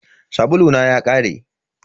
Sabulu na ya ƙare.